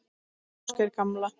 Ásgeiri gamla.